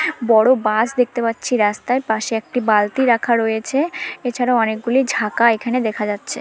বড় বাস দেখতে পাচ্ছি রাস্তায়। পাশে একটি বালতি রাখা রয়েছে এছাড়া অনেকগুলি ঝাঁকা এখানে দেখা যাচ্ছে।